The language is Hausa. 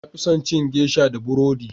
na fi son cin geisha da burodi